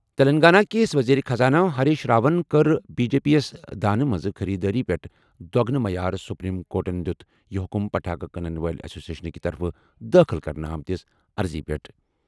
تیٚلنٛگانہ کِس ؤزیٖرِ خزانہٕ ہریٖش راون کٔر بی جے پی یَس دانہِ ہِنٛزِ خٔریٖدٲری پٮ۪ٹھ دۄگنہٕ معیار سپریم کورٹَن دِیُت یہِ حُکُم پٹاخہ کٕنَن وٲلۍ ایسوسیشن کہِ طرفہٕ دٲخل کرنہٕ آمٕژ عرضی پٮ۪ٹھ جٲری۔